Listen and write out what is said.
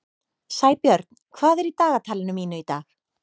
Sæbjörn, hvað er í dagatalinu mínu í dag?